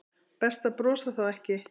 Best að brosa þá ekki.